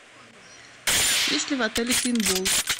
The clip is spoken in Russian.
есть ли в отеле пейнтбол